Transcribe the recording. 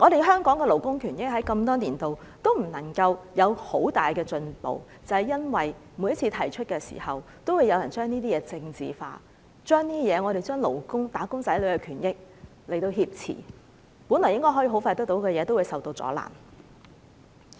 香港的勞工權益多年來都沒有太大進步，正正是因為每次提出來的時候，都有人把議題政治化，把"打工仔女"的勞工權益挾持，原本很快可以得到的東西都會受阻攔。